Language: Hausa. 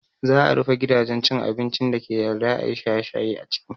Za a rufe gidajen cin abincin dake yarda ayi shaye shaye a ciki